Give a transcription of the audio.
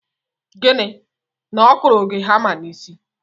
Gịnị? Na ọ kụrụ gị hama n'isi?